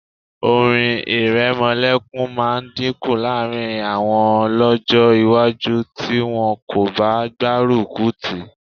Orin ìrẹmọlẹ́kun máa dínkù láàrín àwọn lọ́jọ́ iwájú tí wọn kò bá gbárùkù tì í